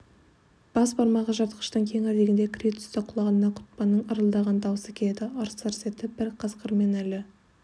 бас бармағы жыртқыштың кеңірдегіне кіре түсті құлағына құтпанның ырылдаған даусы келеді ырс-ырс етіп бір қасқырмен әлі